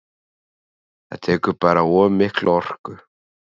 Það tekur bara of mikla orku.